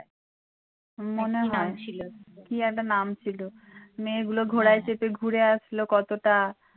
মনে হয় কী একটা নাম ছিল মেয়েগুলো ঘোড়ায় চেপে ঘুরে আসলো কতটা ।